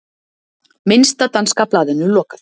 Minnsta danska blaðinu lokað